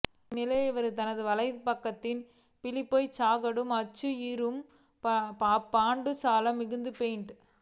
இந்நிலையில் இவர் தனது வலை பக்கத்தில் பீலிப்பேய் சாகாடும் அச்சு இறும் அப்பண்டஞ் சால மிகுத்து பெயின்